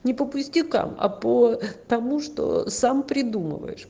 не по пустякам а потому что сам придумал